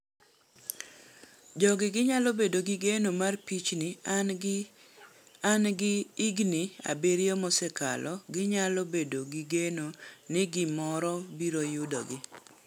Jogi Ginyalo bedo gi geno mar pichni, an gi igini abiriyo mosekalo ginyalo bedo gi geno ni gimoro biro yudogi.